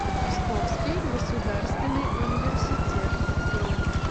псковский государственный университет бронь